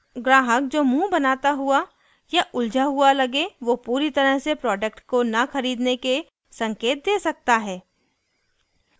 ग्राहक जो मुँह बनाता हुआ या उलझा हुआ लगे वो पूरी तरह से प्रोडक्ट को न खरीदने के संकेत दे सकता है